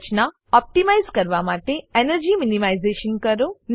રચના optimise કરવા માટે energy minimisation કરો